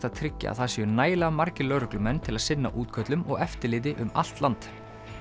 að tryggja að það séu nægilega margir lögreglumenn til að sinna útköllum og eftirliti um allt land